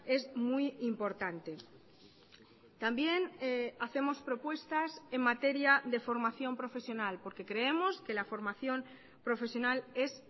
es muy importante también hacemos propuestas en materia de formación profesional porque creemos que la formación profesional es